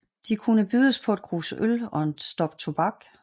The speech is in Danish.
De kunne bydes på et krus øl og et stop tobak